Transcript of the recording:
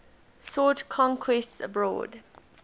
sought conquests abroad